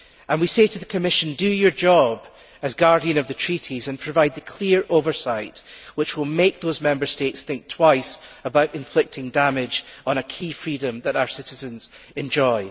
We say to the Commission do your job as guardian of the Treaties and provide the clear oversight which will make those Member States think twice about inflicting damage on a key freedom that our citizens enjoy.